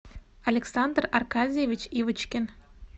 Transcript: александр аркадьевич ивочкин